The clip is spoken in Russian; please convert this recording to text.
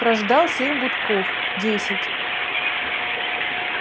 прождал семь гудков десять